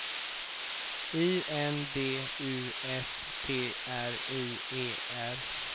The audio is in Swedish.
I N D U S T R I E R